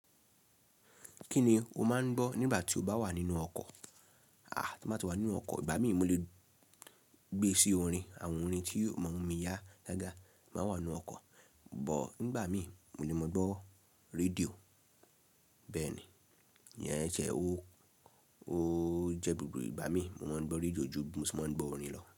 Kíni o máa ń gbọ́ nígbà tí o bá wà nínú ọkọ̀? Aà, tí mo bá ti wà nínú ọkọ̀, ìgbà mí mo lè gbé sí orin, àwọn orin tí yóò mú mi yá dáadáa, máa wà nínú ọkọ̀. But nígbà mí mo lè máa gbọ́ rédíò. Bẹ́ẹ̀ ni, ìyẹn ẹ jẹ́ owó ó jẹ́ gbogbo ìgbà mí, mo máa ń gbọ́ rédíò ju bi mo ṣe máa ń gbọ́ orin lọ.